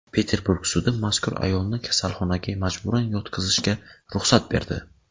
Peterburg sudi mazkur ayolni kasalxonaga majburan yotqizishga ruxsat berdi.